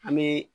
An bɛ